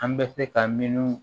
An bɛ se ka minnu